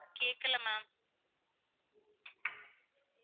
கேக்கல ma'am